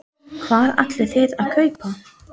Hvað ætlið þið að kaupa?